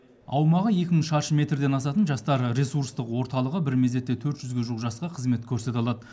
аумағы екі мың шаршы метрден асатын жастар ресурстық орталығы бір мезетте төрт жүзге жуық жасқа қызмет көрсете алады